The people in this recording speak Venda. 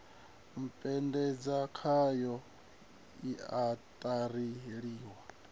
u puṱedza khayo siaṱari ḽiswa